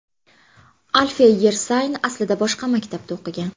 Alfiya Yersayn aslida boshqa maktabda o‘qigan.